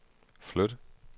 flyt